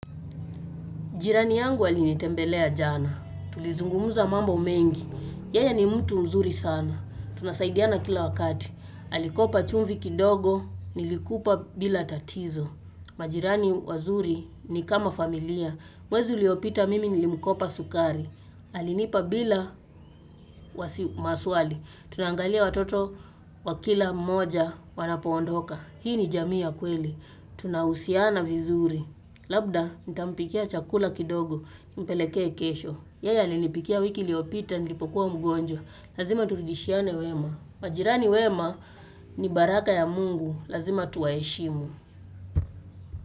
Jirani yangu alinitembelea jana. Tulizungumuza mambo mengi. Yeye ni mtu mzuri sana. Tunasaidiana kila wakati. Alikopa chumvi kidogo, nilikupa bila tatizo. Majirani wazuri ni kama familia. Mwezi uliopita mimi nilimkopa sukari. Alinipa bila maswali. Tunaangalia watoto wa kila mmoja wanapoondoka. Hii ni jamii ya kweli. Tunahusiana vizuri. Labda nitampikia chakula kidogo. Mpeleke kesho, yeye alinipikia wiki liopita, nilipokuwa mgonjwa Lazima turudishiane wema majirani wema ni baraka ya mungu, lazima tuwaeshimu.